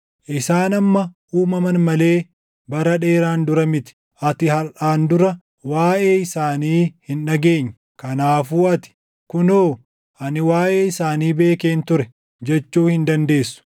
Isaan amma uumaman malee bara dheeraan dura miti; ati harʼaan dura waaʼee isaanii hin dhageenye. Kanaafuu ati, ‘Kunoo ani waaʼee isaanii beekeen ture’ // jechuu hin dandeessu.